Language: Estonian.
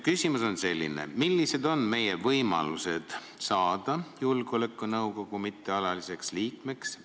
Küsimus on selline: millised on meie võimalused saada julgeolekunõukogu mittealaliseks liikmeks?